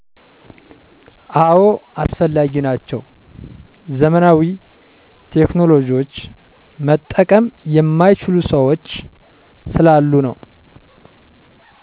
አዎ አስፈላጊ ናቸው። ዘመናዊ ቴክኖሎጅዎች መጠቀም የማይችሉ ሠዎች ስላሉ ነው።